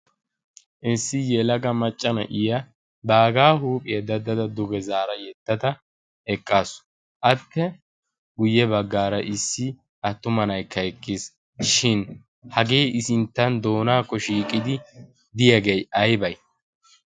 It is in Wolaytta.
issi yelaga macca naiya baggaa huuphiya dada eqaasu , i sinta attuma na'aykka eqqis, shi hagee i sintan doonakko shiiqidi ditage aybay?